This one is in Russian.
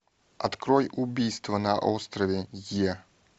открой убийство на острове е